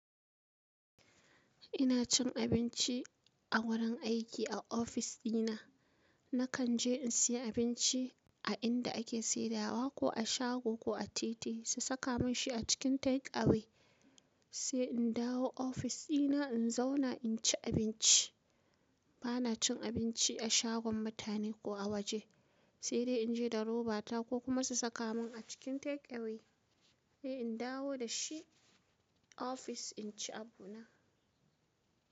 Ina cin abinci a wurin aiki a ofis dina. Nakan je in siyi abinci a inda ake saidawa ko a shago ko a titi su saka mun shi a cikin take away sai in dawo ofis dina in zauna in ci abinci. Bana cin abinci a shagon mutane ko a waje sai dai in je da roba ta ko kuma su saka mun a cikin take away sai in dawo da shi ofis in ci abu na.